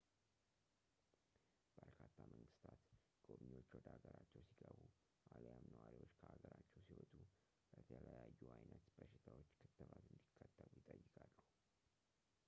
በርካታ መንግስታት ጎብኚዎች ወደ ሀገራቸው ሲገቡ አሊያም ነዋሪዎች ከሀገራቸው ሲወጡ ለተለያዩ አይነት በሽታዎች ክትባት እንዲከተቡ ይጠይቃሉ